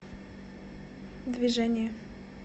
движение